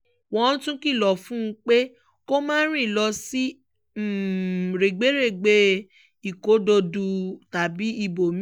wọ́n tún kìlọ̀ fún un pé kó má rìn lọ sí rẹ́gbẹ̀rẹ̀gbẹ́ ìkódọ̀dù tàbí ibòmí-ín